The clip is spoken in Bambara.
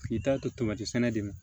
K'i taa to tomati sɛnɛ de ma